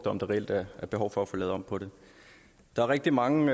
om der reelt er behov for at få lavet om på det der er rigtig mange